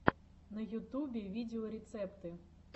на ютубе видеорецепты